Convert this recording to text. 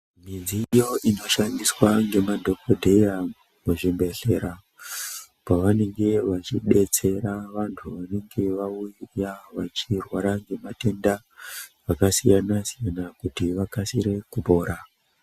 Midziyo inoshandiswa ngemadhokodheya muzvibhedhlera pavanenge vechidetsera vanthu vanenge vauya vechirwara ngematenda akasiyana siyana kuti vakasire kupora .